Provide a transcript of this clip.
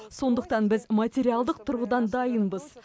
сондықтан біз материалдық тұрғыдан дайынбыз